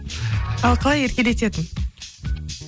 ал қалай еркелететін